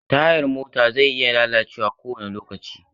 Tayar mota zai iya lalacewa kowane lokaci.